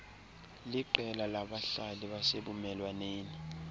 liqela labahlali basebumelwaneni